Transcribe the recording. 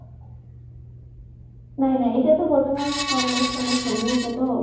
নাই নাই, এতিয়া তো বৰ্তমান college চলেজ চলি আচে তো